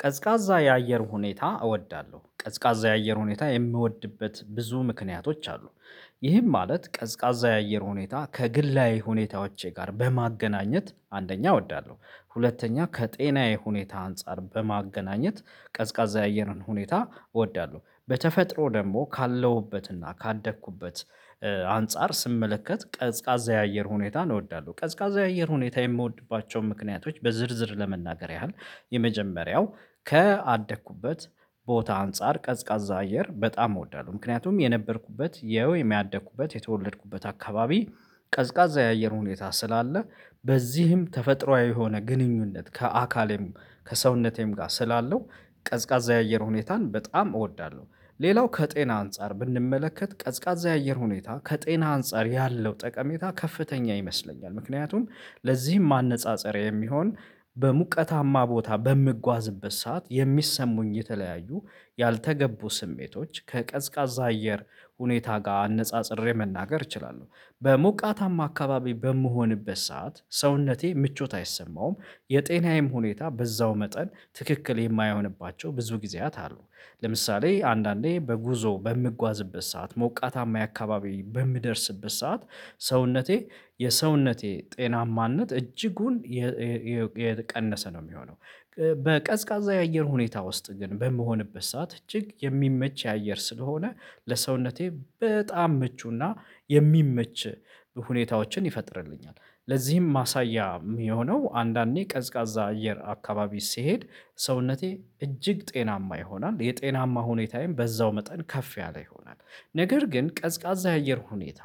ቀዝቃዛ የአየር ሁኔታ እወዳለሁ ቀዝቃዛ የአየር ሁኔታ የምወድበት ብዙ ምክንያቶች አሉ። ይህም ማለት ቀዝቃዛ የአየር ሁኔታ ከግላዊ ሁኔታዎቼ ጋር በማገናኘት አንደኛ እወዳለሁ። ሁለተኛ ከጤናዬ ሁኔታ አንፃር በማገናኘት ቀዝቃዛ የአየርን ሁኔታ እወዳለሁ በተፈጥሮ ደግሞ ካለሁበትና ካደግኩበት አንፃር ስመለከት ቀዝቃዛ የአየር ሁኔታን እወዳለሁ። ቀዝቃዛ የአየር ሁኔታ የምወድባቸውን ምክንያቶች በዝርዝር ለመናገር ያህል የመጀመሪያው ከአደኩበት ቦታ አንፃር ቀዝቃዛ አየር በጣም እወዳለሁ። ምክንያቱም የነበርኩበት የወይም ያደኩበት የተወለድኩበት አካባቢ ቀዝቃዛ የአየር ሁኔታ ስላለ በዚህም ተፈጥሮአዊ የሆነ ግንኙነት ከአካሌም ከሰውነቴም ጋር ስላለው ቀዝቃዛ የአየር ሁኔታን በጣም እወዳለሁ። ሌላው ከጤና አንፃር ብንመለከት ቀዝቃዛ የአየር ሁኔታ ከጤና አንፃር ያለው ጠቀሜታ ከፍተኛ ይመስለኛል። ምክንያቱም ለዚህም ማነጻጸሪያ የሚሆን በሙቀታማ ቦታ በምጓዝበት ሰዓት የሚሰሙኝ የተለያዩ ያልተገቡ ስሜቶች ከቀዝቃዛ አየር ሁኔታ ጋር አነጻጽሬ መናገር እችላለሁ በሞቃታማ አካባቢ በምሆንበት ሰዓት ሰውነቴ ምቾት አይሰማውም። የጤናዬም ሁኔታ በዛው መጠን ትክክል የማይሆንባቸው ብዙ ጊዜያት አሉ። ለምሳሌ አንዳንዴ በጉዞ በምጓዝበት ሰዓት ሞቃታማ የአካባቢ በምደርስበት ሰዓት ሰውነቴ የሰውነቴ ጤናማነት እጅጉን የቀነሰ ነው የሚሆነው። በቀዝቃዛ የአየር ሁኔታ ውስጥ ግን በምሆንበት ሰዓት እጅግ የሚመች የአየር ስለሆነ ለሰውነቴ በጣም ምቹና የሚመች ሁኔታዎችን ይፈጥርልኛል። ለዚህም ማሳያ የሚሆነው አንዳንዴ ቀዝቃዛ አየር አካባቢ ሲሄድ ሰውነቴ እጅግ ጤናማ ይሆናል የጤናማ ሁኔታዬም በዛው መጠን ከፍ ያለ ይሆናል። ነገር ግን ቀዝቃዛ የአየር ሁኔታ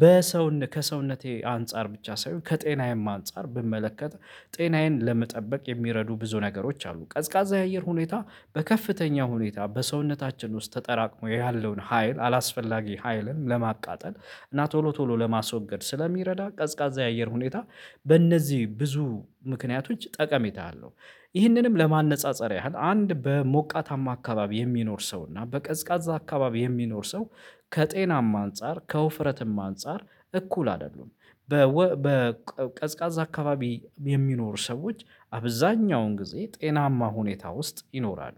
በሰውነ ከሰውነቴ አንፃር ብቻ ሳይሆን ከጤናዬም አንፃር ብመለከት ጤናዬን ለመጠበቅ የሚረዱ ብዙ ነገሮች አሉ። ቀዝቃዛ የአየር ሁኔታ በከፍተኛ ሁኔታ በሰውነታችን ውስጥ ተጠራቅሞ ያለውን ሀይል አላስፈላጊ ሀይልን ለማቃጠል እና ቶሎ ቶሎ ለማስወገድ ስለሚረዳ ቀዝቃዛ የአየር ሁኔታ በእነዚህ ብዙ ምክንያቶች ጠቀሜታ አለው። ይህንንም ለማነጻጸር ያህል አንድ በሞቃታማ አካባቢ የሚኖር ሰው እና በቀዝቃዛ አካባቢ የሚኖር ሰው ከጤናማ አንፃር ከውፍረትም አንፃር እኩል አይደሉም። በቀዝቃዛ አካባቢ የሚኖሩ ሰዎች አብዛኛውን ጊዜ ጤናማ ሁኔታ ውስጥ ይኖራሉ።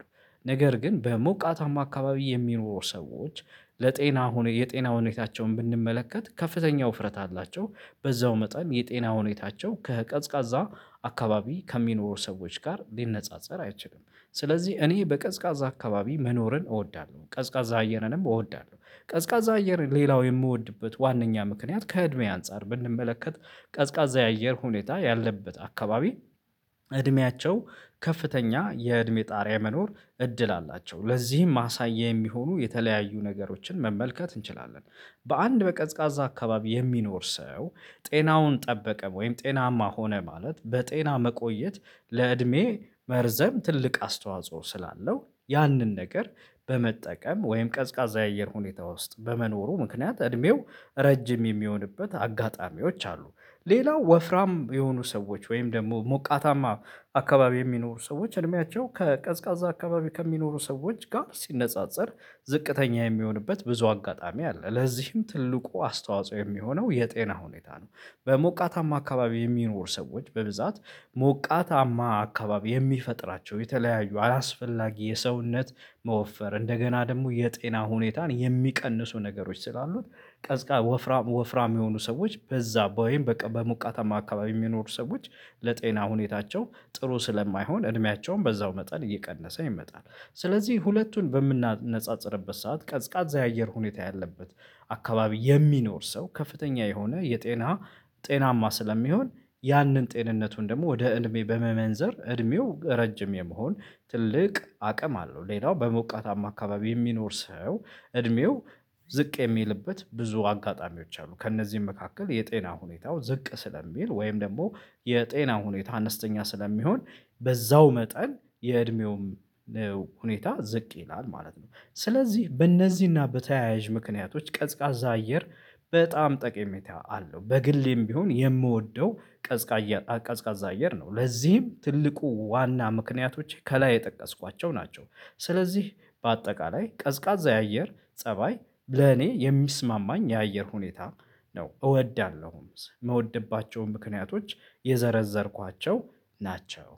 ነገር ግን በሞቃታማ አካባቢ የሚኖሩ ሰዎች ለጤና የጤና ሁኔታቸውን ብንመለከት ከፍተኛ ውፍረት አላቸው። በዛው መጠን የጤና ሁኔታቸው ከቀዝቃዛ አካባቢ ከሚኖሩ ሰዎች ጋር ሊነጻጸር አይችልም። ስለዚህ እኔ በቀዝቃዛ አካባቢ መኖርን እወዳለሁ ቀዝቃዛ አየርንም እወዳለሁ ቀዝቃዛ አየር ሌላው የምወድበት ዋናኛ ምክንያት ከእድሜ አንፃር ብንመለከት ቀዝቃዛ የአየር ሁኔታ ያለበት አካባቢ እድሜያቸው ከፍተኛ የእድሜ ጣሪያ መኖር እድል አላቸው ለዚህም ማሳያ የሚሆኑ የተለያዩ ነገሮችን መመልከት እንችላለን። በአንድ በቀዝቃዛ አካባቢ የሚኖር ሰው ጤናውን ጠበቀም ወይም ጤናማ ሆነ ማለት በጤና መቆየት ለእድሜ መርዘም ትልቅ አስተዋጽኦ ስላለው ያንን ነገር በመጠቀም ወይም ቀዝቃዛ የአየር ሁኔታ ውስጥ በመኖሩ ምክንያት እድሜው ረጅም የሚሆንበት አጋጣሚዎች አሉ። ሌላው ወፍራም የሆኑ ሰዎች ወይም ደግሞ ሞቃታማ አካባቢ የሚኖሩ ሰዎች እድሜያቸው ከቀዝቃዛ አካባቢ ከሚኖሩ ሰዎች ጋር ሲነጻጸር ዝቅተኛ የሚሆንበት ብዙ አጋጣሚ አለ ለዚህም ትልቁ አስተዋጽኦ የሚሆነው የጤና ሁኔታ ነው። በሞቃታማ አካባቢ የሚኖሩ ሰዎች በብዛት ሞቃታማ አካባቢ የሚፈጥራቸው የተለያዩ አላስፈላጊ የሰውነት መወፈር እንደገና ደግሞ የጤና ሁኔታን የሚቀንሱ ነገሮች ስላሉት ቀዝቃዛ ወፍራም ወፍራም የሆኑ ሰዎች በዛ ወይም በቃ በሙቀታማ አካባቢ የሚኖሩ ሰዎች ለጤና ሁኔታቸው ጥሩ ስለማይሆን እድሜያቸውን በዛው መጠን እየቀነሰ ይመጣል። ስለዚህ ሁለቱን በምናነጻጽርበት ሰዓት ቀዝቃዛ የአየር ሁኔታ ያለበት አካባቢ የሚኖር ሰው ከፍተኛ የሆነ የጤና ጤናማ ስለሚሆን ያንን ጤንነቱን ደግሞ ወደ እድሜ በመመንዘር እድሜው ረጅም የመሆን ትልቅ አቅም አለው። ሌላው በሞቃታማ አካባቢ የሚኖር ሰው እድሜው ዝቅ የሚልበት ብዙ አጋጣሚዎች አሉ ከእነዚህም መካከል የጤና ሁኔታው ዝቅ ስለሚል ወይም ደግሞ የጤና ሁኔታ አነስተኛ ስለሚሆን በዛው መጠን የእድሜውም ነው ሁኔታ ዝቅ ይላል ማለት ነው። ስለዚህ በእነዚህና በተያያዥ ምክንያቶች ቀዝቃዛ አየር በጣም ጠቀሜታ አለው። በግሌም ቢሆን የምወደው ቀዝቃዛ ቀዝቃዛ አየር ነው ለዚህም ትልቁ ዋና ምክንያቶች ከላይ የጠቀስኳቸው ናቸው። ስለዚህ በአጠቃላይ ቀዝቃዛ የአየር ፀባይ ለኔ የሚስማማኝ የአየር ሁኔታ ነው እወዳለሁም ምወድባቸውም ምክንያቶች የዘረዘርኳቸው ናቸው